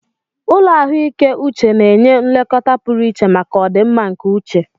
Ụlọ ahụike uche na-enye nlekọta pụrụ iche maka ọdịmma nke uche